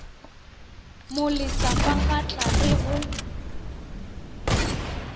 mo lesa fafatla re go